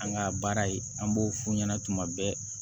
An ka baara ye an b'o f'u ɲɛna tuma bɛɛ